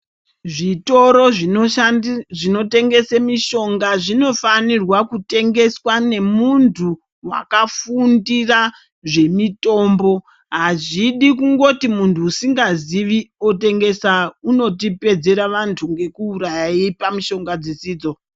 Zvitoro zvinotengese mishonga zvinofanirwa kutingeswa ngemuntu wakafundira zvemutombo azvidi kungoti muntu usingazivi otengesa unotipedzera vantu ngokuuraya eipa mushonga dzisidzo.